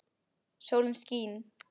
Sólin skín.